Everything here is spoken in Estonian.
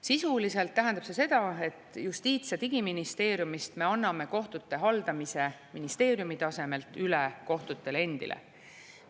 Sisuliselt tähendab see seda, et Justiits‑ ja Digiministeeriumist me anname kohtute haldamise ministeeriumi tasemelt üle kohtutele endile.